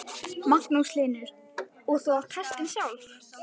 Magnús Hlynur: Og þú átt hestinn sjálf?